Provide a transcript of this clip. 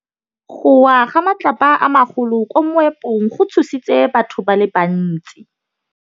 Go wa ga matlapa a magolo ko moepong go tshositse batho ba le bantsi.